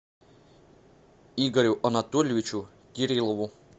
игорю анатольевичу кириллову